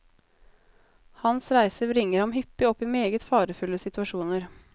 Hans reiser bringer ham hyppig opp i meget farefulle situasjoner.